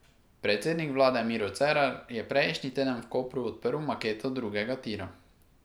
Predsednik vlade Miro Cerar je prejšnji teden v Kopru odprl maketo drugega tira.